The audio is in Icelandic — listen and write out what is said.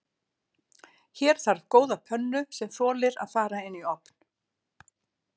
Hér þarf góða pönnu sem þolir að fara inn í ofn.